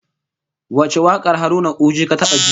Wace wakar Haruna Uji ka taba ji?